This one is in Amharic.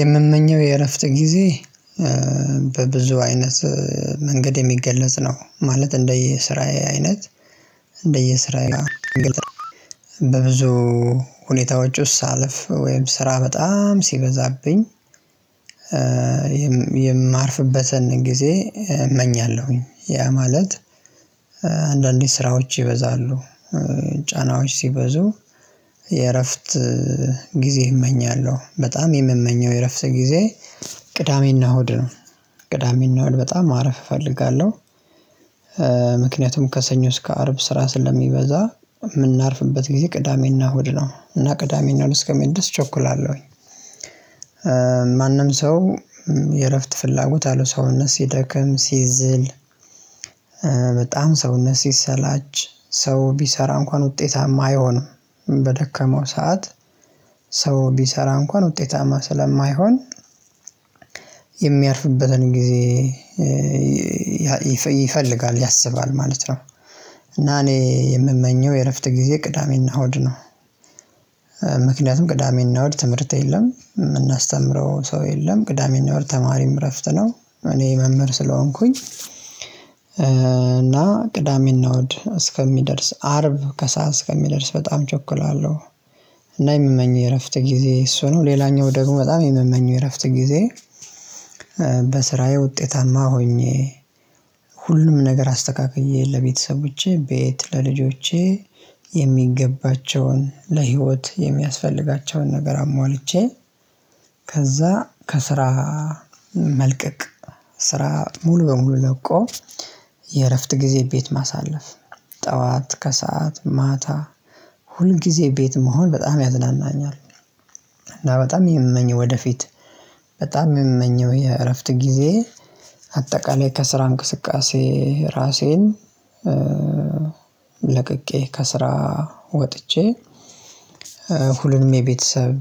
የምመኘው የእረፍት ጊዜ በብዙ አይነት መንገድ የሚገለጽ ነው። ማለት እንደየስራዬ አይነት እንደየስራዬ ላይ በብዙ ሁኔታዎች ዉስጥ ሳለፍ ወይም ስራ በጣም ሲበዛብኝ የማርፍበትን ጊዜ እመኛለሁ። ያ ማለት አንዳንዴ ስራዎች ይበዛሉ ጫናዎች ሲበዙ የእረፍት ጊዜ እመኛለሁ በጣም የምመኘው የረፍት ጊዜ ቅዳሜና እሁድ ነው። ቅዳሜና እሁድ በጣም ማረፍ እፈልጋለሁ። ምክንያቱም ከሰኞ እስከ አርብ ስራ ስለሚበዛ የምናርፍበት ጊዜ ቅዳሜና ሆድ ነው እና ቅዳሜን ነው እስከሚደርስ እቸኩላለሁኝ። ማንም ሰው የእረፍት ፍላጎት አለው ሰውነት ሲደክም ሲዝል። በጣም ሰውነት ሲሰላች ሰው ቢሰራ እንኳን ውጤታማ አይሆንም። በደከመው ሰዓት ሰው ቢሰራ እንኳን ውጤታማ ስለማይሆን የሚያርፍበትን ጊዜ ይፈልጋል ያሰባል ማለት ነው። እና እኔ የምመኘው የእረፍት ጊዜ ቅዳሜና እሁድ ነው። ምክንያቱም ቅዳሜና እሁድ ትምህርት የለም የምናስተምረው ሰው የለም ቅዳሜና እሁድ ተማሪም እረፍት ነው እኔ መምህር ስለሆንኩኝ እና ቅዳሜና እሁድ እስከሚደርስ አርብ ከሰአት እስከሚደርስ በጣም እቸኩላለሁ። እና የምመኝ የእረፍት ጊዜ እሱ ነው። ሌላኛው ደግሞ በጣም የምመኘው እረፍት ጊዜ በስራዬ ውጤታማ ሆኜ ሁሉም ነገር አስተካክዬ ለቤተሰቦቼ ቤት ለልጆቼ የሚገባቸውን ለህይወት የሚያስፈልጋቸውን ነገር አሟልቼ ከዛ ከስራ መልቀቅ ስራ ሙሉ በሙሉ ለቆ የእረፍት ጊዜ ቤት ማሳለፍ ጠዋት ከሰአት ማታ ሁል ጊዜ ቤት መሆን በጣም ያዝናናኛል። እና በጣም የምመኘው ወደፊት በጣም የምመኘው የእረፍት ጊዜ አጠቃላይ ከስራ እንቅስቃሴ ራሴን ለቅቄ ከስራ ወጥቼ ሁሉንም የቤተሰብ